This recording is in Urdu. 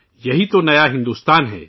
یہی تو نیا بھارت ہے